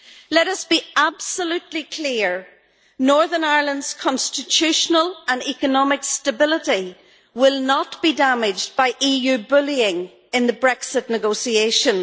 Let us be absolutely clear, Northern Ireland's constitutional and economic stability will not be damaged by EU bullying in the Brexit negotiations.